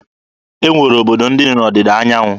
E nwere obodo ndị dị n'Ọdịda anyanwụ.